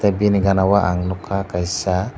bini gana o ang nogka kaisa.